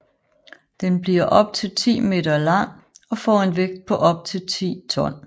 Den bliver op til 10 m lang og får en vægt på op til 10 t